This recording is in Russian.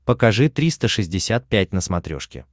покажи триста шестьдесят пять на смотрешке